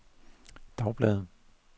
dagbladet